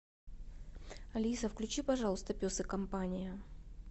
алиса включи пожалуйста пес и компания